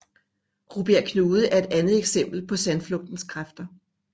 Rubjerg Knude er et andet eksempel på sandflugtens kræfter